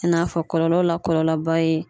I n'a fɔ kɔlɔlɔ la kɔlɔlɔba ye